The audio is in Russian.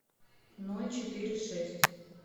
ноль четыре шесть